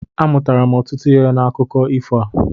Amụtara m ọtụtụ ihe n'akụko ifo a.